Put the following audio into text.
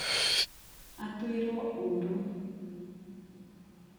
atuĩrwo ũru